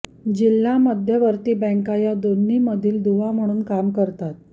जिल्हा मध्यवर्ती बँका या दोन्हींमधील दुवा म्हणून काम करतात